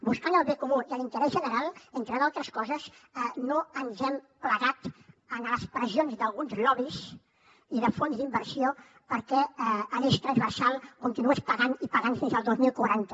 buscant el bé comú i l’interès general entre altres coses no ens hem plegat a les pressions d’alguns lobbys i de fons d’inversió perquè l’eix transversal continués pagant i pagant fins al dos mil quaranta